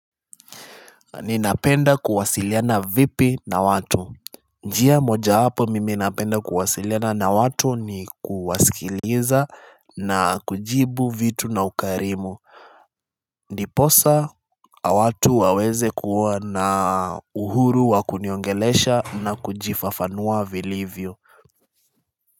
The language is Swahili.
Ninapenda kuwasiliana vipi na watu njia moja wapo mimi napenda kuwasiliana na watu ni kuwasikiliza na kujibu vitu na ukarimu Ndiposa watu waweze kuwa na uhuru wa kuniongelesha na kujifafanua vilivyo.